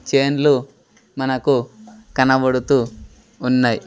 చేన్లు మనకు కనబడుతూ ఉన్నాయ్.